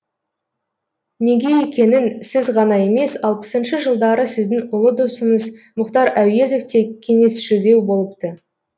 неге екенін сіз ғана емес алпысыншы жылдары сіздің ұлы досыңыз мұхтар әуезов те кеңесшілдеу болыпты